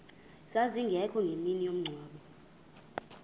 zazingekho ngemini yomngcwabo